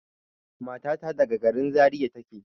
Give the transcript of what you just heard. Matata daga gari Zariya take.